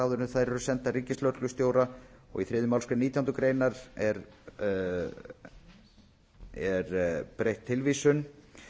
áður en þær eru sendar ríkislögreglustjóra í þriðju málsgrein nítjánda grein er breytt tilvísun